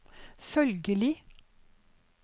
følgelig